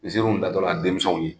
Nziriw da tɔ la denmisɛnw ye.